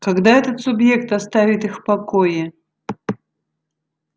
когда этот субъект оставит их в покое